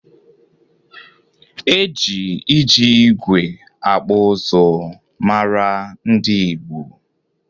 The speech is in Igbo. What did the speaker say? E ji iji igwe akpụ ụzụ mara ndị Igbo.